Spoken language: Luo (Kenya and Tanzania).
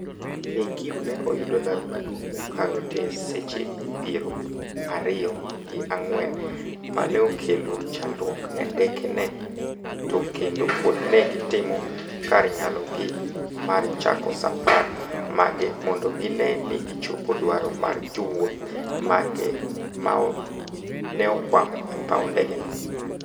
KQ ne oyudo lal maduong' mokalo te e seche piero ario gi ang'wen maneokelo chandruok ne ndeke ne to kendo pod ne gitimo kar nyalo gi mar chako safar mage mondo gine ni gichopo dwaro mar jowuoth mage maneokwamo e paw ndege no